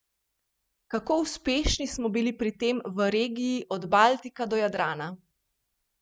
Kako uspešni smo bili pri tem v regiji od Baltika do Jadrana?